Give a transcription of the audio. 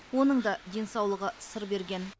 оның да денсаулығы сыр берген